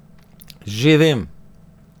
Že vem!